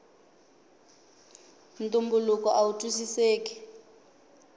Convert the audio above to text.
ntumbuluko awu twisiseki